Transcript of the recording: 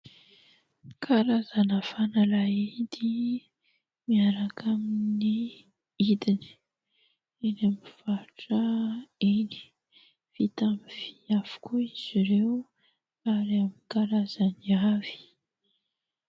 Karazana fanalahidy miaraka amin'ny hidiny. Eny aminy mpivarotra eny. Vita aminy vy avokoa izy ireo ary amin'ny karazany avy.